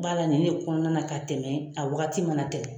B'a la nin ne kɔnɔna ka tɛmɛ a wagati mana tɛmɛ.